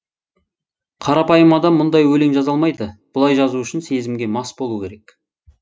қарапайым адам мұндай өлең жаза алмайды бұлай жазу үшін сезімге мас болу керек